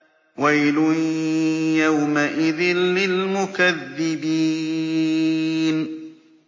وَيْلٌ يَوْمَئِذٍ لِّلْمُكَذِّبِينَ